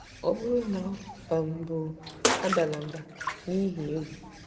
Ọ bụrụ na ọ um bụ, adala mbà n’ihi egwu.